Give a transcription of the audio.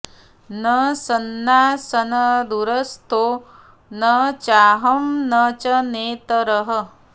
न सन्नासन्न दूरस्थो न चाहं न च नेतरः